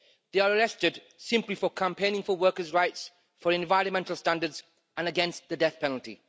They are arrested simply for campaigning for workers' rights, for environmental standards and against the death penalty.